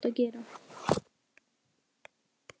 Þetta er það sem þú átt að gera.